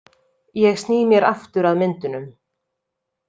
Ég sný mér aftur að myndunum.